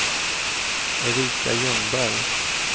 Erika Ljungberg